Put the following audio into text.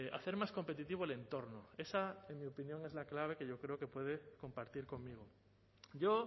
hacer más competitivo el entorno esa en mi opinión es la clave que yo creo que puede compartir conmigo yo